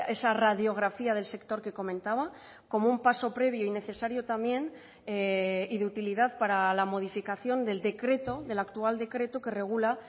esa radiografía del sector que comentaba como un paso previo y necesario también y de utilidad para la modificación del decreto del actual decreto que regula